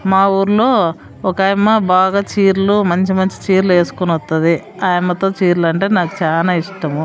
మా ఊర్లో ఒక ఆయమ్మ బాగా చీరలో మంచి-మంచి చీరలు వేసుకుని వత్తది. ఆ అమ్మతో చీరలు అంటే నాకు చానా ఇష్టం.